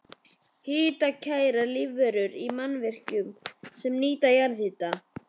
Hitakærar lífverur í mannvirkjum sem nýta jarðhita